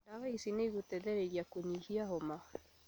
Ndawa ici nĩigũteithia kũnyihia homa